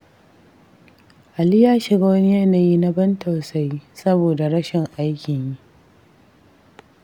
Ali ya shiga wani yanayi na ban tausayi, saboda rashi aikin yi.